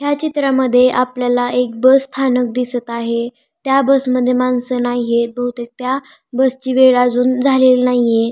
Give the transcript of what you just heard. ह्या चित्रामध्ये आपल्याला एक बस स्थानक दिसत आहे त्या बस मध्ये माणसं नाहीयेत बहुतेक त्या बस ची वेळ अजून झालेली नाहीये.